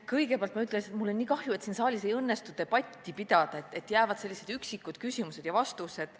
Kõigepealt ma ütlen, et mul on nii kahju, et siin saalis ei õnnestu debatti pidada, et kõlavad vaid üksikud küsimused ja vastused.